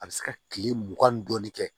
A bɛ se ka kile mugan ni dɔɔnin kɛ